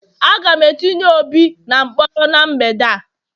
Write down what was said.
Aga m etinye obi na mkpọrọ n' mgbede a